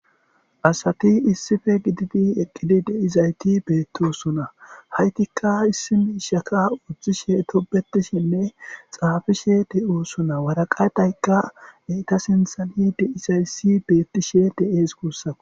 asati issife gididi eqqidi de'izayti beettosona haytikka issi miishaka udtishe tobetishinne xaafishe de'osona waraqaytaykka eyta sinthani de'izayssi beettishe de"ees guussaku